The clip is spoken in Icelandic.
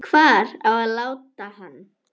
Hvar á að láta hann?